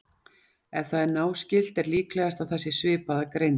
Ef það er náskylt er líklegast að það sé svipað að greind.